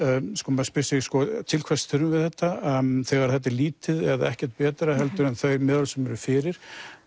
maður spyr sig til hvers þurfum við þetta þegar þetta er lítið eða ekkert betra en þau meðöl sem eru fyrir